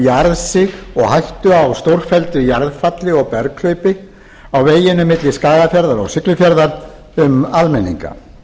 jarðsig og hættu á stórfelldu jarðfalli og berghlaupi á veginum milli skagafjarðar og siglufjarðar um almenninga annars